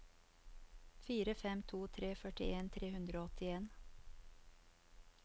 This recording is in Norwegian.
fire fem to tre førtien tre hundre og åttien